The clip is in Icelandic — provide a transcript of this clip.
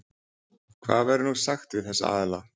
Hvað verður nú sagt við þessa aðila?